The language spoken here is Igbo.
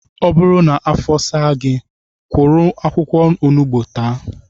Ọ bụrụ na afo saa gị, kụrụ akwụkwọ onugbu taa